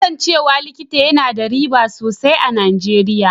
Kasancewa likita yana da riba sosai a Nijeriya.